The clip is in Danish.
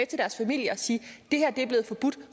til deres familie og sige det her er blevet forbudt